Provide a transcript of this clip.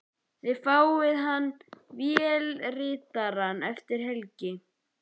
Þið fáið hann vélritaðan eftir helgi.